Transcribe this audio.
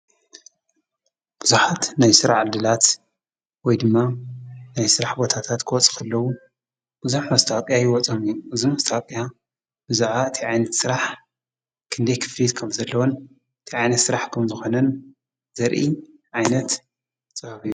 ብዙሓት ናይ ስራሕ ዕድላት ወይ ድማ ናይ ስራሕ ቦታታት ክወጹ ከለዉ ብዙሕ መስታወቂያ ይወፆም እዩ ።እዚ መስታወቂያ ብዛዕባ ታይ ዓይነት ስራሕ ፣ክንደይ ክፍሊት ከም ዘለዎን ታይ ዓይነት ስርሕ ከምዝኮነን ዘርኢ ዓይነት ፅሑፍ እዩ ።